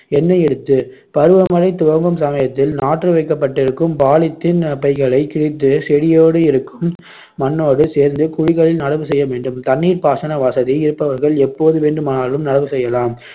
எண்ணெய் இருத்து பருவமழை துவங்கும் சமயத்தில் நாற்று வைக்கப்பட்டிருக்கும் polythene பைகளைக் கிழித்து செடியோடு இருக்கும் மண்ணோடு சேர்ந்து குழிகளில் நடவு செய்யவேண்டும் தண்ணீர் பாசன வசதி இருப்பவர்கள் எப்போது வேண்டுமானாலும் நடவு செய்யலாம்.